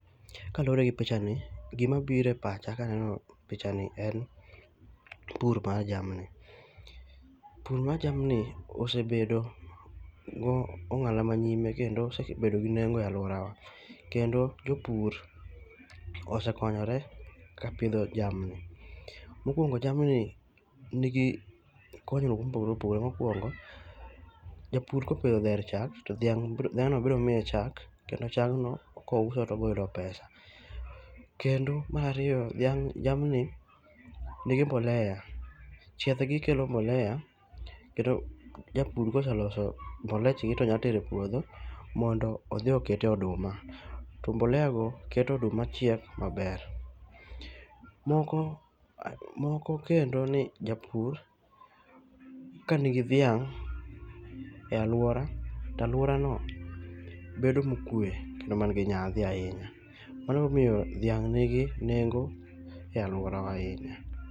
Kaluore gi pichani gima biro epacha kaneno pichani en pur mar jamni. Pur mar jamni osebedo go ong'ala manyime kendo osebedo gi nengo e aluorawa. Kendo jopur osekonyore kapidho jamni. Mokuongo jamni nigi konyruok mopogore opogore. Mokuongo, japur kopidho dher chak to dhiang' bro dheno biro miye chak kendo chakgno kouso tobiro yudo pesa. Kendo mar ariyo jamni nigi mbolea. Chiethgi kelo mbolea kendo japur koseloso mbolechgi to nya tere epuodho mondo odhi okete oduma. To mboleago keto oduma chiek maber. Moko moko kendo ni japur kanigi dhiang' e aluora to aluorano bedo mokue kendo mangi nyadhi ahinya. Mano ema omiyo dhiang' nigi nengo e aluorawa ahinya.